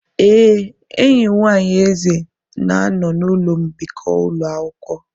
Ee, enyi nwanyị Eze na-anọ n'ụlọ mbikọ ụlọ akwụkwọ.